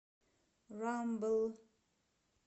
рамбл